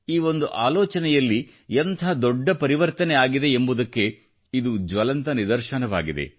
ಈ ಒಂದು ಆಲೋಚನೆಯಲ್ಲಿ ಎಂಥ ದೊಡ್ಡ ಪರಿವರ್ತನೆ ಆಗಿದೆ ಎಂಬುದ್ಕೆ ಇದು ಜ್ವಲಂತ ನಿದರ್ಶನವಾಗಿದೆ